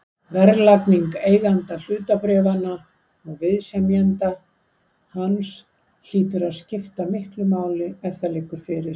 Verðlagning eiganda hlutabréfanna og viðsemjenda hans hlýtur að skipta miklu máli ef það liggur fyrir.